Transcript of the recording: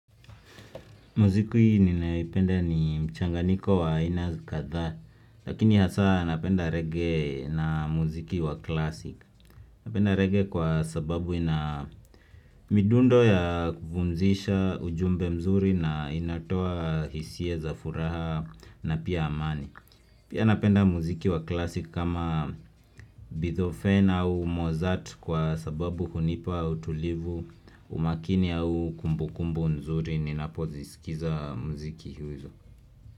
Muzikwi hii ninaipenda ni mchanganiko wa ina katha Lakini hasa napenda reggae na muziki wa klasik Napenda reggae kwa sababu ina midundo ya kufunzisha ujumbe mzuri na inatoa hisia za furaha na pia amani Pia napenda muziki wa klasik kama Bithofen au Mozart kwa sababu hunipa utulivu umakini ya huu kumbu kumbu nzuri ni napoziskiza mziki hizo.